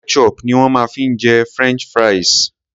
Ketchup ni wón ma fi ń jẹ french fries.